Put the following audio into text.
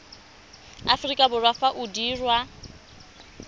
aforika borwa fa o dirwa